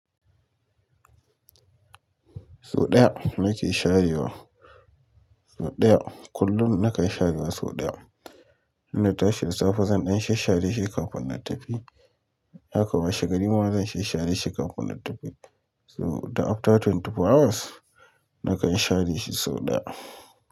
So ɗaya nake sharewa. So ɗaya. Kullum nakan sharewa so ɗaya. In na tashi da safe zan ɗan shash share shi kafin na tafi. Haka washe gari ma zan shash share shi kafin na tafi So duk. After twenty four hours nakan share shi sau ɗaya.